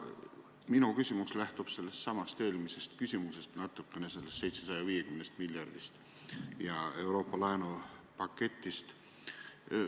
Minu küsimus lähtub sellestsamast eelmisest küsimusest, natukene 750 miljardist ja Euroopa laenupaketist.